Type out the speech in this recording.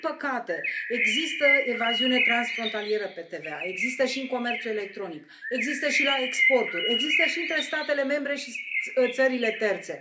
Din păcate, există evaziune transfrontalieră pe TVA, există și în comerțul electronic, există și la exporturi, există și între statele membre și țările terțe.